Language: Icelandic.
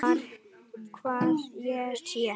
Hvar ég sé.